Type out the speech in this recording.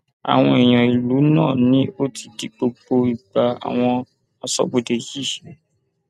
àwọn èèyàn ìlú náà ni ó ti di gbogbo ìgbà àwọn aṣọbodè yìí